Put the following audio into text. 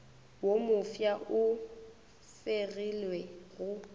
wo mofsa e fegilwe go